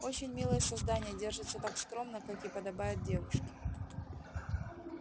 очень милое создание держится так скромно как и подобает девушке